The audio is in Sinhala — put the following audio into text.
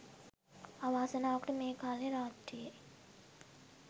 අවාසනාවකට මේ කාලේ රාත්‍රියේ